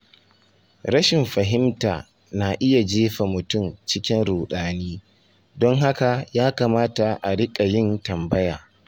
Rashin fahimta na iya jefa mutum cikin ruɗani, don haka ya kamata a riƙa yin tambaya.